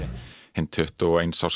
hinn tuttugu og eins árs